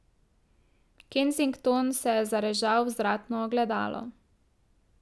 Kensington se je zarežal v vzvratno ogledalo.